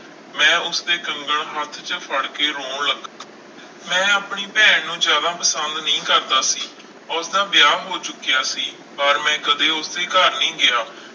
ਮੈਂ ਉਸਦੇ ਕੰਗਣ ਹੱਥ 'ਚ ਫੜ ਕੇ ਰੋਣ ਲੱ~ ਮੈਂ ਆਪਣੀ ਭੈਣ ਨੂੰ ਜ਼ਿਆਦਾ ਪਸੰਦ ਨਹੀਂ ਕਰਦਾ ਸੀ, ਉਸਦਾ ਵਿਆਹ ਹੋ ਚੁੱਕਿਆ ਸੀ ਪਰ ਮੈਂ ਕਦੇ ਉਸਦੇ ਘਰ ਨਹੀਂ ਗਿਆ।